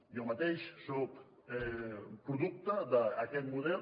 jo mateix soc producte d’aquest model